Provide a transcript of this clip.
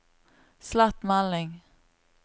slett melding